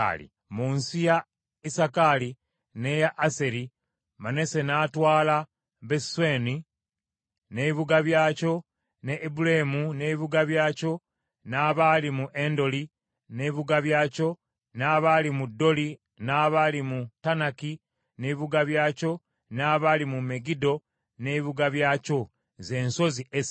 Mu nsi ya Isakaali n’eya Aseri, Manase n’atwala Besuseani n’ebibuga byakyo ne Ibuleamu n’ebibuga byakyo n’abaali mu Endoli n’ebibuga byakyo n’abaali mu Doli n’abaali mu Taanaki n’ebibuga byakyo, n’abaali mu Megiddo n’ebibuga byakyo z’ensozi essatu.